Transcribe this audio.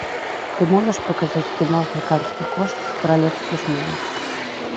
ты можешь показать кино африканские кошки королевство смелых